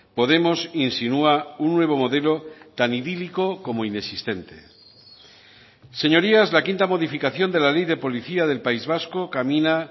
podemos insinúa un nuevo modelo tan idílico como inexistente señorías la quinta modificación de la ley de policía del país vasco camina